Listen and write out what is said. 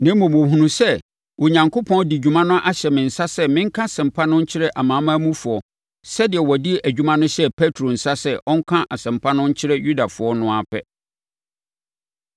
Na mmom, wɔhunuu sɛ Onyankopɔn de dwuma no ahyɛ me nsa sɛ menka Asɛmpa no nkyerɛ amanamanmufoɔ sɛdeɛ ɔde dwuma no hyɛɛ Petro nsa sɛ ɔnka Asɛmpa no nkyerɛ Yudafoɔ no ara pɛ.